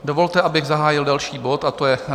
Dovolte, abych zahájil další bod, a to je